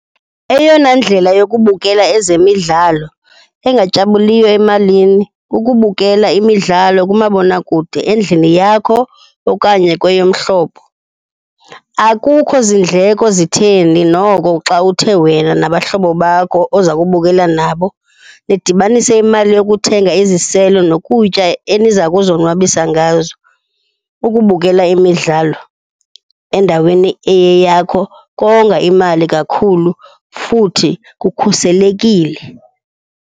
Eyona ndlela yokubukela ezemidlalo engatyabuliyo emalini kukubukela imidlalo kumabonakude endlini yakho okanye kweyomhlobo. Akukho zindleko zitheni noko xa uthe wena nabahlobo bakho oza kubukela nabo nidibanise imali yokuthenga iziselo nokutya eniza kuzonwabisa ngazo. Ukubukela imidlalo endaweni eyeyakho konga imali kakhulu futhi kukhuselekile.